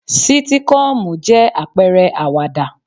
Sítíkọ́ọ̀mù jẹ́ àpẹrẹ àwàdà.